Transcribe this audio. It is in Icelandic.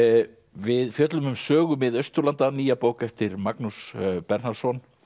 við fjöllum um sögu Mið Austurlanda nýja bók eftir Magnús Bernharðsson